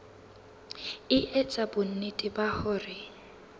e etsa bonnete ba hore